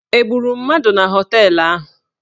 Egburu mmadụ na họteelụ ahụ?